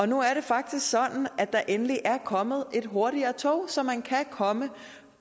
nu er det faktisk sådan at der endelig er kommet et hurtigere tog så man kan komme